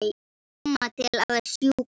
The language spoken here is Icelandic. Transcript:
Mamma til að sjúga.